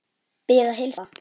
Bið að heilsa pabba.